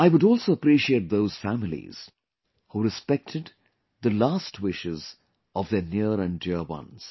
I would also appreciate those families who respected the last wishes of their near and dear ones